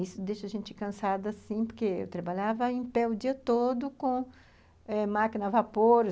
Isso deixa a gente cansada, sim, porque eu trabalhava em pé o dia todo com eh máquina a vapor.